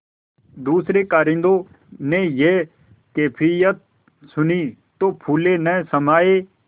दूसरें कारिंदों ने यह कैफियत सुनी तो फूले न समाये